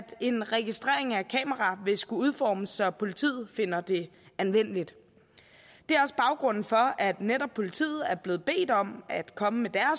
en registrering af kameraer vil skulle udformes så politiet finder det anvendeligt det er også baggrunden for at netop politiet er blevet bedt om at komme med